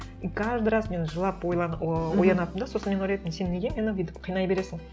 и каждый раз мен жылап о оянатынмын да сосын мен ойлайтынмын сен неге мені бүйтіп қинай бересің